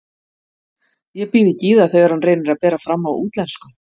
Ég býð ekki í það þegar hann reynir að bera fram á útlensku.